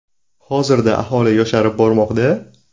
Hozirda aholi yosharib bormoqda.